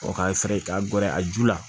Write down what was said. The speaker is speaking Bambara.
ka fɛrɛ k'a gɛrɛ a ju la